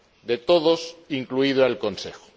De todos, incluido el Consejo.